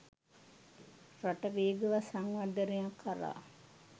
රට වේගවත් සංවර්ධනයක් කරා